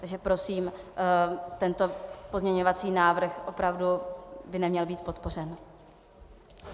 Takže prosím, tento pozměňovací návrh opravdu by neměl být podpořen.